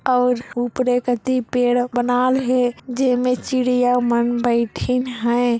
और ऊपरे कति पेड़ बनाल हे जेमा चिड़िया मन बैथिल हे।